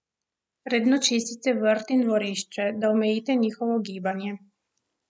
Redno čistite vrt in dvorišče, da omejite njihovo gibanje.